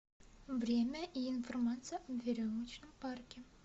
время и информация о веревочном парке